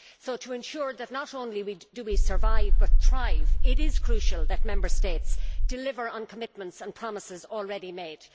So to ensure that not only do we survive but thrive, it is crucial that Member States deliver on commitments and promises already made.